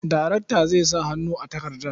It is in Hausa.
Daraktan zai sa hannu a takardar.